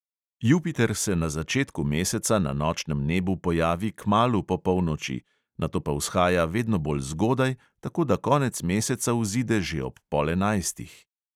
Jupiter se na začetku meseca na nočnem nebu pojavi kmalu po polnoči, nato pa vzhaja vedno bolj zgodaj, tako da konec meseca vzide že ob pol enajstih.